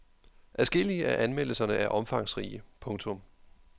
Adskillige af anmeldelserne er omfangsrige. punktum